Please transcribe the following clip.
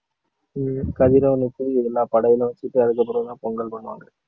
ஹம் கதிரவனுக்கு எல்லா படையலும் வச்சுட்டு அதுக்கப்புறம்தான் பொங்கல் பண்ணுவாங்க